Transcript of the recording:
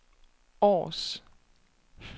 Aars